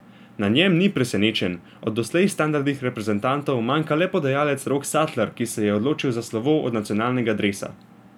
Na njem ni presenečenj, od doslej standardnih reprezentantov manjka le podajalec Rok Satler, ki se je odločil za slovo od nacionalnega dresa.